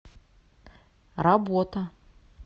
работа